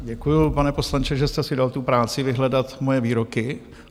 Děkuju, pane poslanče, že jste si dal tu práci vyhledat moje výroky.